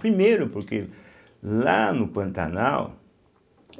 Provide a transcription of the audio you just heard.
Primeiro porque lá no Pantanal,